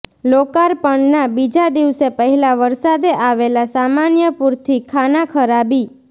લોકાર્પણના બીજા દિવસે પહેલા વરસાદે આવેલા સામાન્ય પુરથી ખાનાખરાબી